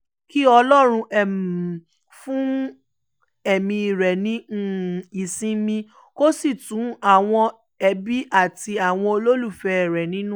kí ọlọ́run um fún ẹ̀mí rẹ̀ ní um ìsinmi kó sì tu àwọn ẹbí àti àwọn olólùfẹ́ rẹ̀ nínú